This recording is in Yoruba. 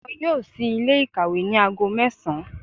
Wọn yóò sí Ilé ìkàwé ní aago mẹ́sàn án